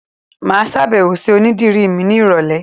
Màá sàbẹ̀wò sí onídìrí mi ní ìrọ̀lẹ̀